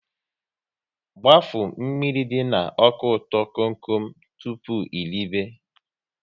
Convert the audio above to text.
Gbafuo mmiri dị na ọka ụtọ kom kom tụpụ eribe!